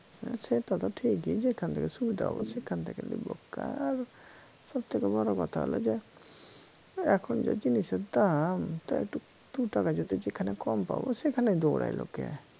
হ্যা সেটা তো ঠিকই যেখান থেকে সুবিধা হবে সেখান থেকে নিব কার সব থেকে বড় কথা হল যে এখন যে জিনিসের দাম তা একটু দুটাকা যদি যেখানে কম পাবো সেখানেই দৌড়ায় লোকে